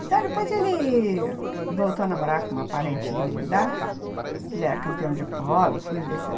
Então, depois ele voltou a namorar com uma parente dele lá, ele era campeão de polo, fui ver se...